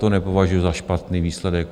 To nepovažuju za špatný výsledek.